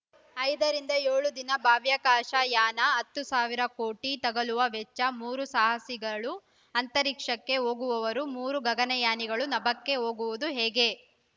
ಐದ ರಿಂದ ಏಳು ದಿನ ಬಾಹ್ಯಾಕಾಶ ಯಾನ ಹತ್ತ್ ಸಾವಿರ ಕೋಟಿ ತಗಲುವ ವೆಚ್ಚ ಮೂರು ಸಾಹಸಿಗಳು ಅಂತರಿಕ್ಷಕ್ಕೆ ಹೋಗುವವರು ಮೂರು ಗಗನಯಾನಿಗಳು ನಭಕ್ಕೆ ಹೋಗುವುದು ಹೇಗೆ